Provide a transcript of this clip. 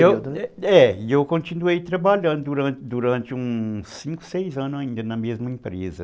É, eu continuei trabalhando durante durante uns cinco, seis anos ainda na mesma empresa.